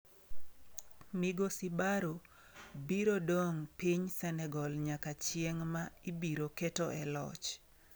Migosi Barrow biro dong' piny Senegal nyaka chieng' ma ibiro keto e loch.